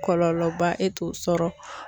Kɔlɔlɔba e t'o sɔrɔ.